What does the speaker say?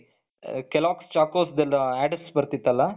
kellogg's choco's ದೆಲ್ಲ adds ಬರ್ತಿತ್ತಲ್ಲ.